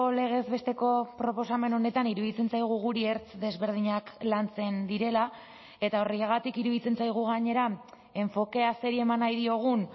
legez besteko proposamen honetan iruditzen zaigu guri ertz desberdinak lantzen direla eta horregatik iruditzen zaigu gainera enfokea zeri eman nahi diogun